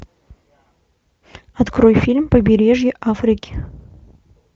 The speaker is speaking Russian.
открой фильм побережье африки